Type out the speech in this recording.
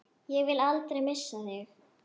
Ég vil aldrei missa þig.